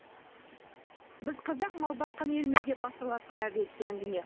біз қазақ мал баққан елміз деп басталатын әріректе әңгіме